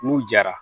N'u jara